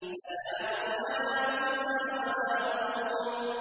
سَلَامٌ عَلَىٰ مُوسَىٰ وَهَارُونَ